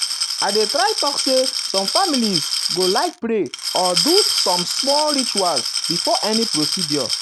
i dey try talk say some families go families go like pray or do some small ritual before any procedure.